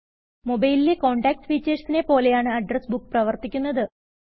മൊബൈലിലെ contacts ഫിചേഴ്സിനെ പോലെയാണ് address book പ്രവർത്തിക്കുന്നത്